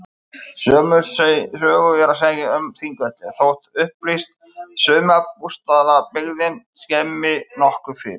Sömu sögu er að segja um Þingvelli þótt upplýst sumarbústaðabyggðin skemmi nokkuð fyrir.